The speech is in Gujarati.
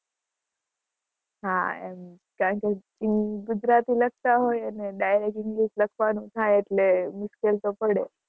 હા, એમ, કારણ કે ગુજરાતી લખતા હોઈએ અને direct english લખવાનું થાય એટલે મુશ્કેલ તો પડે